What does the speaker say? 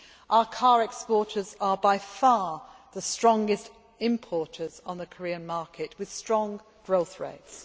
Our car exporters are by far the strongest importers on the Korean market, with strong growth rates.